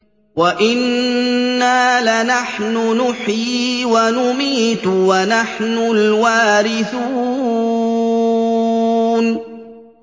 وَإِنَّا لَنَحْنُ نُحْيِي وَنُمِيتُ وَنَحْنُ الْوَارِثُونَ